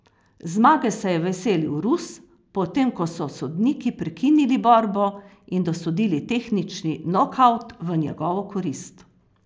Zmage se je veselil Rus, potem ko so sodniki prekinili borbo in dosodili tehnični nokavt v njegovo korist.